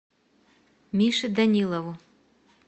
мише данилову